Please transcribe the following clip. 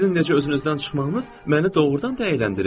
Sizin necə özünüzdən çıxmağınız məni doğrudan da əyləndirir?